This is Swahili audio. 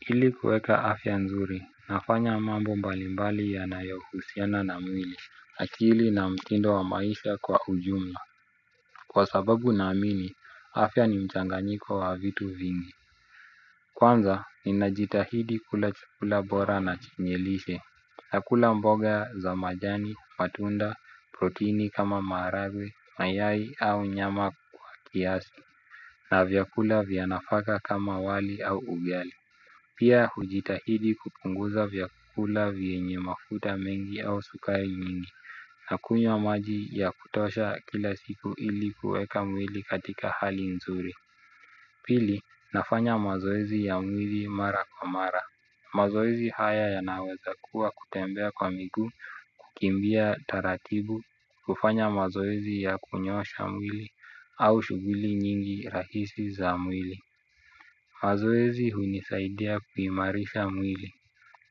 Ili kueka afya nzuri, nafanya mambo mbalimbali yanayohusiana na mwili, akili na mtindo wa maisha kwa ujumla. Kwa sababu naamini, afya ni mchanganyiko wa vitu vingi. Kwanza, ninajitahidi kula chukula bora na chenye lishe, nakula mboga za majani, matunda, proteini kama maharagwe, mayai au nyama kwa kiasi, na vyakula vya nafaka kama wali au ugali. Pia hujitahidi kupunguza vyakula vyenye mafuta mengi au sukari nyingi. Nakunywa maji ya kutosha kila siku ili kuweka mwili katika hali nzuri. Pili nafanya mazoezi ya mwili mara kwa mara. Mazoezi haya yanaweza kuwa kutembea kwa miguu kukimbia taratibu kufanya mazoezi ya kunyoosha mwili au shughuli nyingi rahisi za mwili. Mazoezi hunisaidia kuimarisha mwili.